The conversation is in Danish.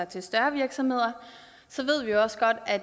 til større virksomheder så ved vi også godt at